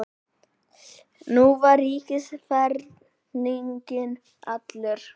Nú var ríkiserfinginn allur.